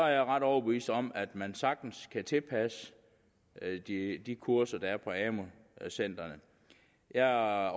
er jeg ret overbevist om at man sagtens kan tilpasse de kurser der er på amu centrene jeg